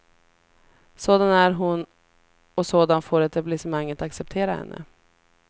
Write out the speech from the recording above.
Sådan är hon och sådan får etablissemanget acceptera henne.